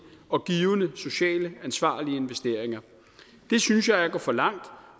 og givende socialt ansvarlige investeringer synes jeg er at gå for langt